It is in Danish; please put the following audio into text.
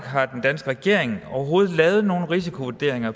har den danske regering overhovedet lavet nogen risikovurderinger